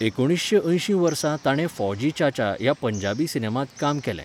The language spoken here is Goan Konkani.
एकुणीशें अयशीं वर्सा ताणें 'फौजी च्याच्या' ह्या पंजाबी सिनेमांत काम केलें.